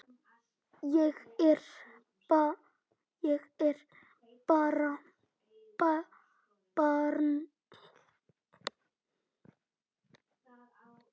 Ég er bara barn.